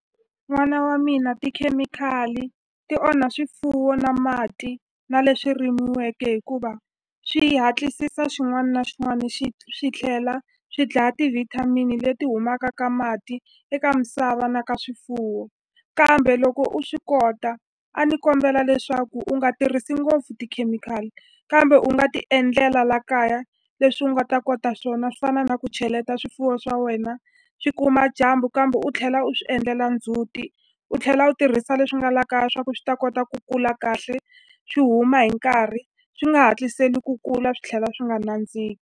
N'wana wa mina tikhemikhali ti onha swifuwo na mati na leswi rimiweke hikuva swi hatlisisa xin'wani na xin'wani swi tlhela swi dlaya ti-vitamin leti humaka ka mati eka misava na ka swifuwo kambe loko u swi kota a ni kombela leswaku u nga tirhisi ngopfu tikhemikhali kambe u nga ti endlela la kaya leswi u nga ta kota swona swi fana na ku cheleta swifuwo swa wena swi kuma dyambu kambe u tlhela u swi endlela ndzhuti u tlhela u tirhisa leswi nga la kaya swa ku swi ta kota ku kula kahle swi huma hi nkarhi swi nga hatliseli ku kula swi tlhela swi nga .